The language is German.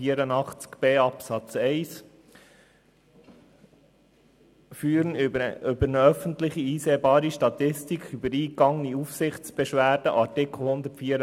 Schliesslich soll gemäss Artikel 184 b Absatz 2 (neu) jährlich eine öffentlich einsehbare Statistik über eingegangene Aufsichtsbeschwerden erfolgen.